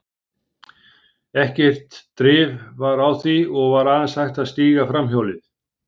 Ekkert drif var á því, og var aðeins hægt að stíga framhjólið.